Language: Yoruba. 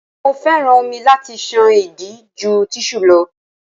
Mo féràn omi láti ṣan ìdí ju tíṣù lọ.